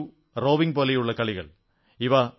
wushu rowing പോലുള്ള ഇനങ്ങളിൽ